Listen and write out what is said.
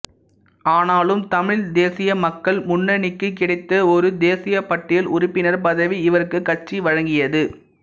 ஆனாலும் தமிழ்த் தேசிய மக்கள் முனன்ணிக்குக் கிடைத்த ஒரு தேசியப் பட்டியல் உறுப்பினர் பதவி இவருக்கு கட்சி வழங்கியது